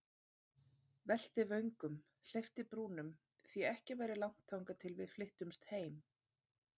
Velti vöngum, hleypti brúnum, því ekki væri langt þangað til við flyttumst heim.